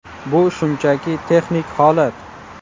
Bu shunchaki texnik holat.